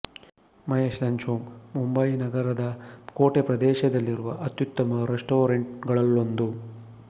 Mahesh lunch home ಮುಂಬಯಿನಗರದ ಕೋಟೆಪ್ರದೇಶದಲ್ಲಿರುವ ಅತ್ಯುತ್ತಮ ರೆಸ್ಟಾರೆಂಟ್ ಗಳಲ್ಲೊಂದು